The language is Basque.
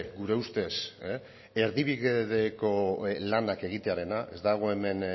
gure ustez erdibideko lanak egitearena ez dago hemen